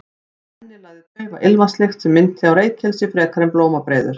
Af henni lagði daufa ilmvatnslykt sem minnti á reykelsi frekar en blómabreiður.